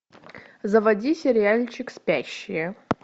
заводи сериальчик спящие